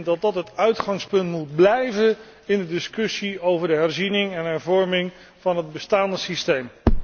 Dat moet het uitgangspunt blijven in de discussie over de herziening en hervorming van het bestaande systeem.